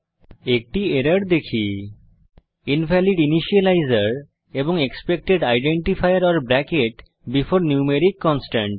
একটি এরর দেখি invalid initializer এবং expected identifier or bracket before numeric constant